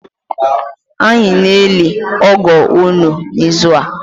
Anyị na-eli ọgọ unu n’ịzụ a